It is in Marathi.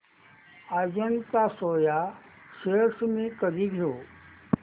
अजंता सोया शेअर्स मी कधी घेऊ